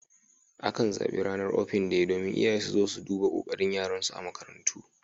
Akan zaɓi Ranar Open Day domin iyaye su zo su duba kokarin yaran su a makarantu.